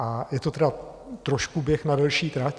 A je to tedy trošku běh na delší trať...